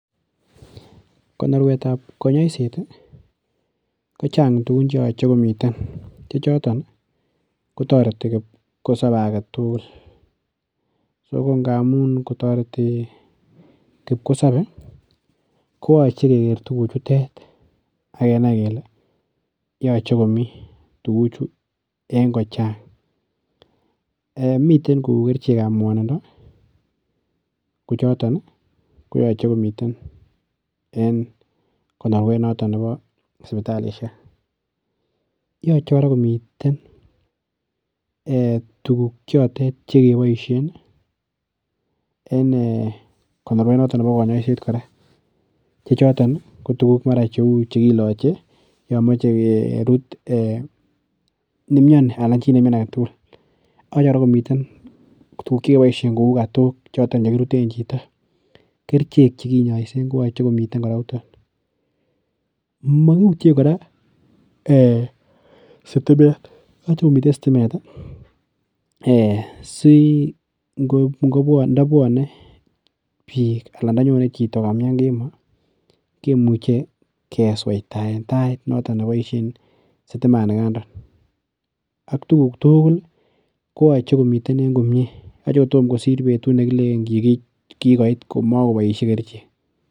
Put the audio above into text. Konorwetab konyoiset kochang tugun che yoche komiten che choton kotareti kipkosobe age tugul. Sokongamun kotoreti kipkosobe ko yoche keger tuguchutet ak kenai kele yoche komi tuguchu eng kochang. Eeh! Miten ku kerichekab kwanindo kochoton koyoche komiten en konorwet noton nebo sipitalisiek. Yoche kora komiten tuguk chotet chekeboisien en eeh konoruet noto nebo konyoiset kora, chechoton ko tuguk mara chekiloche yomoche kurut ne miani anan chi ne miani agetugul. Nyolu kora komiten tuguk chekeboisien kou katok chiton chekiruten chito. Kerichek che kinyaisen koyoche kora komiten yuton. Magiutien kora ee sitimet. Yoche komiten sitimet si ndabwane biik anan ndanyone chito ko kamian kemo kemuche kesoitaen tait noton ne boisien sitiman nikandon ak tuguk tugul koyoche komi komie. Yoche kotom kosir betut ne kilenen kigoit komoboisie kerichek.